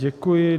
Děkuji.